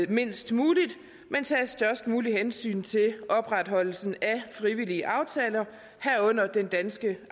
mindst muligt men tages størst muligt hensyn til opretholdelsen af frivillige aftaler herunder den danske